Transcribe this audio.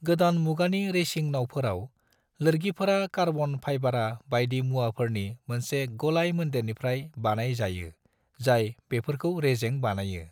गोदान मुगानि रेसिं नावफोराव, लोरगिफोरा कार्बन फाइबारा बायदि मुवाफोरनि मोनसे गलाय-मोनदेरनिफ्राय बानाय जायो जाय बेफोरखौ रेजें बानायो।